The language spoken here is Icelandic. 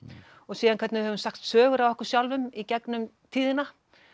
og síðan hvernig við höfum sagt sögur af okkur sjálfum í gegnum tíðina